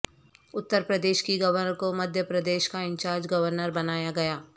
اترپردیش کی گورنر کو مدھیہ پردیش کا انچارج گورنر بنایا گیا